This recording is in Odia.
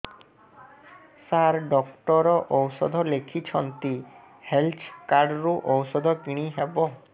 ସାର ଡକ୍ଟର ଔଷଧ ଲେଖିଛନ୍ତି ହେଲ୍ଥ କାର୍ଡ ରୁ ଔଷଧ କିଣି ହେବ